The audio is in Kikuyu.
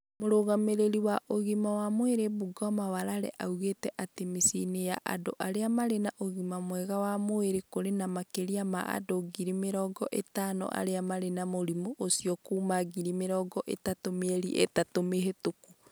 Mũrũgamĩrĩri wa ũgima wa mwĩrĩ Bungoma Walela oigĩte atĩ mĩciĩ-inĩ ya andũ arĩa marĩ na ũgima mwega wa mwĩrĩ kũrĩ na makĩria ma andũ ngiri mĩrongo ĩtano arĩa marĩ na mũrimũ ũcio kuuma ngiri mĩrongo ĩtatũ mĩeri ĩtatũ mĩhĩtũku.